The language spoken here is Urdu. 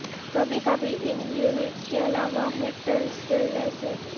کبھی کبھی ان یونٹس کے علاوہ ہیٹر سے لیس ہیں